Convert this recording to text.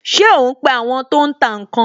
Ṣé o ń pe àwọn tó ń tà ǹ kan?